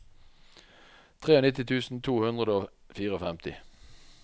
nittitre tusen to hundre og femtifire